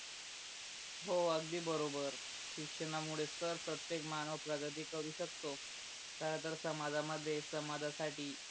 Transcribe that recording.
हो अगदी बरोबर, शिक्षणामूळेच तर प्रतेक मानव प्रगती करू शकतो खर तर समाजा मध्ये समाजा साठी